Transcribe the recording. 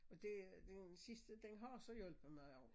Og det den sidste den har så hjulpet mig også